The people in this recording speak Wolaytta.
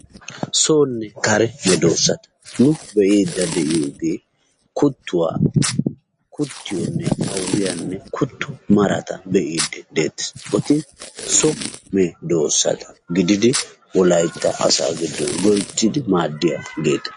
Soonne kare meedoossati nu be'iiddi de'iyoogee kuttuwaa kuttiyonne addiyaanne kutto marata be'iiddi deettes eti so meedoossata gididi wolaytta asaa giddon loyttididi madiyaageeta.